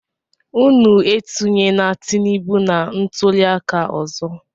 Unu etunyena Tinibu na ntuli aka ọzọ!